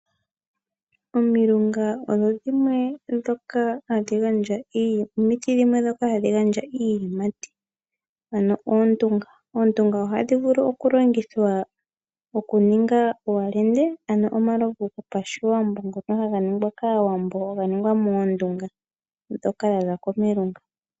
Omilunga odho dhimwe dhomiti ndhoka hadhi gandja iiyimati, ano oondunga. Oondunga ohadhi vulu okulongithwa okuninga owalende ano omalovu gopashiwambo ngono haga ningwa kAawambo ga ningwa moondunga ndhoka dha za komilunga.